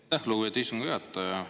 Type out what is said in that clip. Aitäh, lugupeetud istungi juhataja!